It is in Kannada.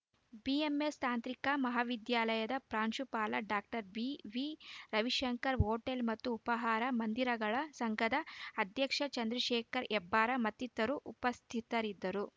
ಬಿಎಂಎಸ್‌ ತಾಂತ್ರಿಕ ಮಹಾವಿದ್ಯಾಲಯದ ಪ್ರಾಂಶುಪಾಲ ಡಾಕ್ಟರ್ ಬಿವಿರವಿಶಂಕರ್‌ ಹೋಟೆಲ್‌ ಮತ್ತು ಉಪಹಾರ ಮಂದಿರಗಳ ಸಂಘದ ಅಧ್ಯಕ್ಷ ಚಂದ್ರಶೇಖರ್‌ ಹೆಬ್ಬಾರ್‌ ಮತ್ತಿತರರು ಉಪಸ್ಥಿತರಿದ್ದರು